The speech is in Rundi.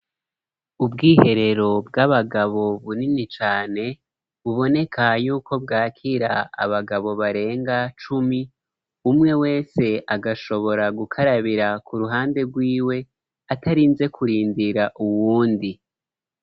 Ubwiherero bw'abagabo bunini cane uboneka yuko bwakira abagabo barenga cumi, umwe wese agashobora gukarabira ku ruhande rwiwe atarinze kurindira uwundi.